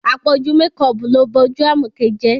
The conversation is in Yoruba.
Àpọ̀jù mekọọ̀pù ló ba ojú Àmọ̀kẹ́ jẹ́